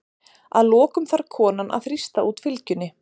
Að lokum þarf konan að þrýsta út fylgjunni.